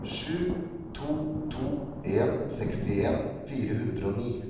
sju to to en sekstien fire hundre og ni